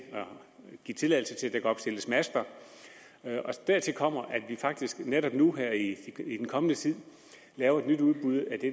give tilladelse til at der kan opstilles master og dertil kommer at vi faktisk netop nu i den kommende tid laver et nyt udbud af det